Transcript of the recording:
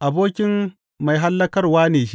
abokin mai hallakarwa ne shi.